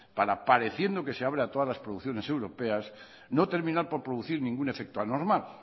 para pareciendo que se abre a todas las producciones europeas no terminar por producir ningún efecto anormal